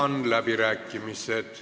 Avan läbirääkimised.